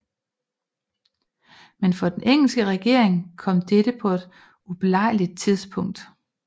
Men for den engelske regering kom dette på et ubelejligt tidspunkt